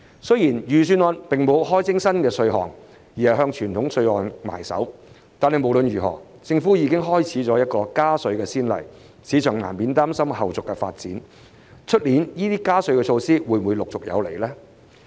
雖然預算案並沒有開徵新稅項，而只是向傳統稅項下手，但無論如何，政府已開展了加稅先例，市場難免擔心，明年加稅措施會否陸續有來。